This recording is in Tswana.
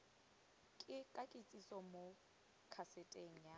ka kitsiso mo kaseteng a